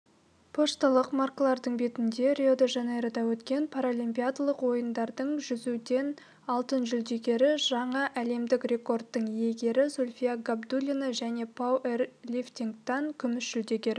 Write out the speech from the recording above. пошталық маркалардың бетінде рио-де-жанейрода өткен паралимпиадалық ойындардың жүзуден алтын жүлдегері жаңа әлемдік рекордтың иегері зульфия габидуллина және пауэрлифтингтан күміс жүлдегері